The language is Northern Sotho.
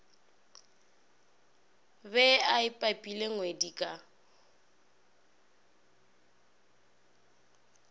be a pipile ngwedi ka